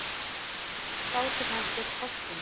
Bátur hans hét Fálkinn.